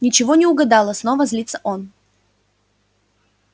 ничего не угадала снова злится он